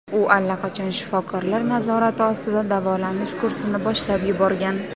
U allaqachon shifokorlar nazorati ostida davolanish kursini boshlab yuborgan.